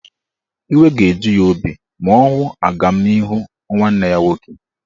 Iwe ga-eju ya obi ma ọ hụ agamnihu nwanne ya nwoke.